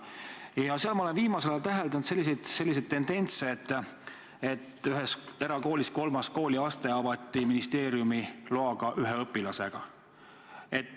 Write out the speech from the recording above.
Ja ma olen viimasel ajal täheldanud tendentsi, et näiteks ühes erakoolis avati kolmas kooliaste ministeeriumi loal ühe õpilasega.